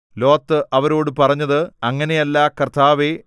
Lot അവരോട് പറഞ്ഞത് അങ്ങനെയല്ല കർത്താവേ